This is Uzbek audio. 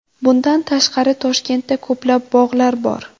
Bundan tashqari Toshkentda ko‘plab bog‘lar bor.